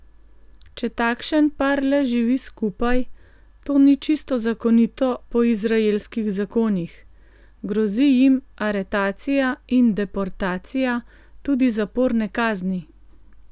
Če takšen par le živi skupaj, to ni čisto zakonito po izraelskih zakonih, grozi jim aretacija in deportacija, tudi zaporne kazni.